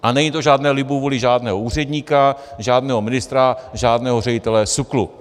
A není to o žádné libovůli žádného úředníka, žádného ministra, žádného ředitele SÚKLu.